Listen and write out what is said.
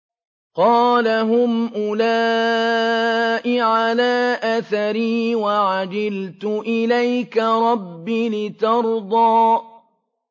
قَالَ هُمْ أُولَاءِ عَلَىٰ أَثَرِي وَعَجِلْتُ إِلَيْكَ رَبِّ لِتَرْضَىٰ